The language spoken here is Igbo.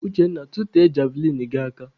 Uchenna, tụtee javlịnụ gị aka!